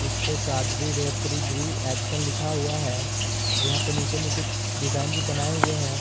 इस पे काडरी रेफ्रिग्री एक्शन लिखा हुआ है और यहां पे नीचे में कुछ डिजाइन भी बनाए हुए हैं।